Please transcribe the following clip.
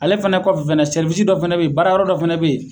Ale fɛnɛ kɔfɛ fɛnɛ sɛriwisisi dɔ fɛnɛ be yen baarayɔrɔ dɔ fɛnɛ be yen